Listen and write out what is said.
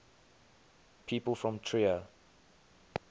people from trier